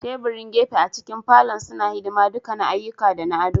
Teburan gefe a cikin falon suna hidima duka na ayyuka da na ado.